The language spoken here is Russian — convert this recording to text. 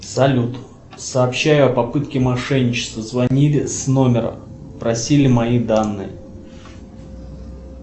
салют сообщаю о попытке мошенничества звонили с номера просили мои данные